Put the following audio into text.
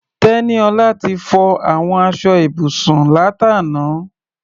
Tẹ́níọlá ti fọ àwọn aṣọ ibùsùn látàná.